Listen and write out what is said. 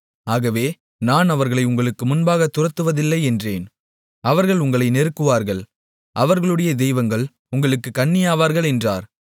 ஆகவே நான் அவர்களை உங்களுக்கு முன்பாகத் துரத்துவதில்லை என்றேன் அவர்கள் உங்களை நெருக்குவார்கள் அவர்களுடைய தெய்வங்கள் உங்களுக்குக் கண்ணியாவார்கள் என்றார்